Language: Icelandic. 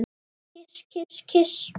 Kyss, kyss, kyss.